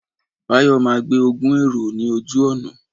Báyọ̀ máa gbé ogún èrò ní ojú ọ̀nà